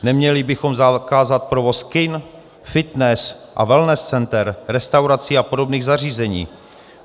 Neměli bychom zakázat provoz kin, fitness a wellness center, restaurací a obdobných zařízení?